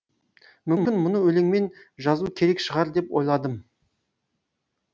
мүмкін мұны өлеңмен жазу керек шығар деп ойладым